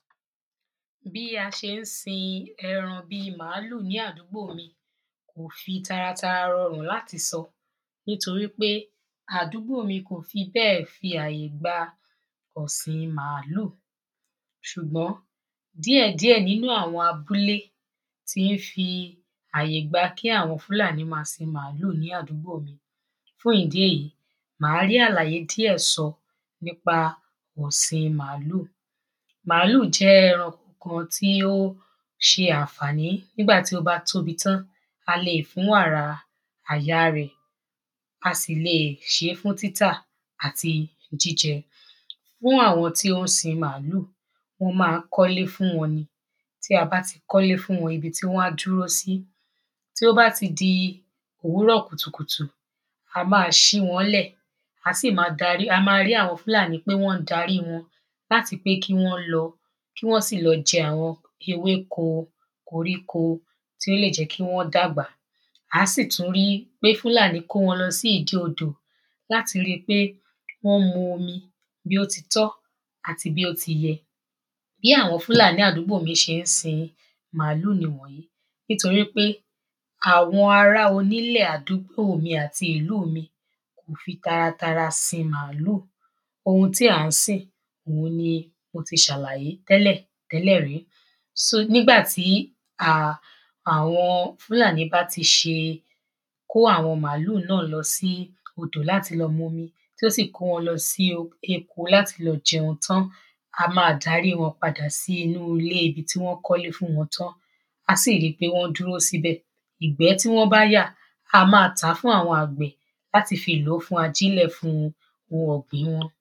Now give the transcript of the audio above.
Bí a ṣe ń sin eran bí maalu ní àdúgbò mi, kò fi tara tara rọrùn láti sọ, nítorí pé àdúgbò mi kò fi béè fi àyè gba ọ̀sin màálú, ṣùgbọ́n, díẹ̀díẹ̀ nínu àwọn abúlé ti ń fí àyè gba kí àwọn Fúlàní ma sin màálù ní àdúgbò mi, fún ìdí èyí màá rí àlàyé díẹ̀ sọ nípa ọ̀sin màálù. Màálù jẹ́ ẹranko kan tí ó ṣe ànfàní, nígbàtí ó bá tóbi tan, a lè fún wàra aya rẹ̀, a sì le ṣe é fún títà àti jíjẹ. Fún àwọn tí ó ń sin màálù, wọ́n ma ń kọ́ ilé fún wọn ni. Tí a bá ti kọ́ ilé fún wọn, ibi tí wọ́n á dúró sí. Tí ó bá ti di òwúrọ̀ kùtùkùtù, a ma ṣí wọn lẹ̀, a sì ma darí, a ma rí àwọn Fúlàní pé wọ́n darí wọn, láti pé kí wọ́n lọ, kí wọ́n sì lọ jẹ àwọn ewéko, koríko, tí ó lè jẹ́ kí wọ́n dàgbà, a sì tún ri pe Fúlàní kó wọn lọ sí ìdí odò, láti ri pé wọ́n mu omi bí ó ti tọ́, àti bí ó ti yẹ. Bi àwọn Fúlàní àdúgbò mi ṣe ń sin màálù nì wọ̀nyí, nítorí pé àwọn ará onílẹ̀ àdúgbò mi àti ìlú mi kò fi taratara sin màálù, oun tí à ń sìn, òun ni mo ti salaye tẹ́lẹ̀ tẹ́lẹ̀ rí. so, nígbàtí, àwọn Fúlàní bá ti ṣe, kó àwọn màálù náà lọsí odò láti lọ m’omi, tí ó sì kó wọn sí oko láti lọ jẹun tán, á ma darí wọn padà sí ilé ibi tí wọ́n kọ́ ilé fún wọn tán, á sì ri pé wọ́n dúró síbẹ̀, ìgbẹ́ tí wọ́n yà, á ma tàá fún àwọn àgbẹ̀ láti lòó fún ajínlè fún oun ọ̀gbin wọn.